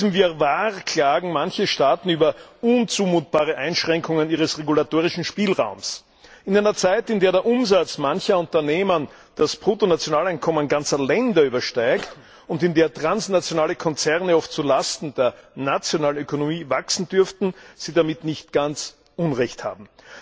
In diesem Wirrwarr klagen manche Staaten über unzumutbare Einschränkungen ihres regulatorischen Spielraums. In einer Zeit, in der der Umsatz mancher Unternehmen das Bruttonationaleinkommen ganzer Länder übersteigt und in der transnationale Konzerne oft zu Lasten der nationalen Ökonomie wachsen, dürften sie damit nicht ganz Unrecht haben.